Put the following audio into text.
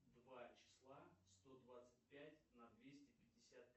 два числа сто двадцать пять на двести пятьдесят